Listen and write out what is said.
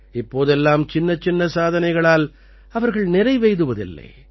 இப்போதெல்லாம் சின்னச்சின்ன சாதனைகளால் அவர்கள் நிறைவெய்துவதில்லை